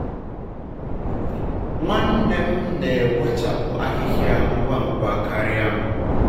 nwannem na-ewechapụ ahịhịa ngwa ngwa karịa m.